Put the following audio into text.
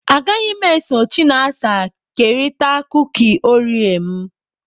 Agaghị m eso Chinasa kerịta kuki oreo m.